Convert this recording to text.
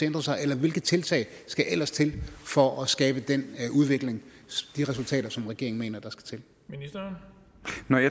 ændre sig eller hvilke tiltag skal ellers til for at skabe den udvikling og de resultater som regeringen mener der